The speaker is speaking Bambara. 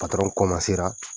ko a se